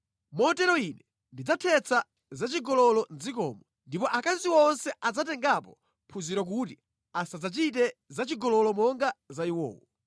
“Motero Ine ndidzathetsa zachigololo mʼdzikomo, ndipo akazi onse adzatengapo phunziro kuti asadzachite zachigololo monga za iwowo.